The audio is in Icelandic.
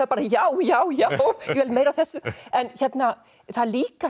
bara já já já ég vil meira af þessu en það er líka